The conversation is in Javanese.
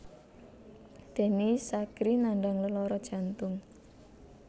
Denny Sakrie nandhang lelara jantung